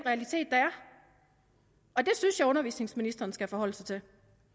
er og det synes jeg at undervisningsministeren skal forholde sig til